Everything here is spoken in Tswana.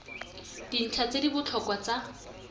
dintlha tse di botlhokwa tsa